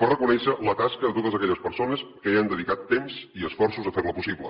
per reconèixer la tasca de totes aquelles persones que han dedicat temps i esforços a fer la possible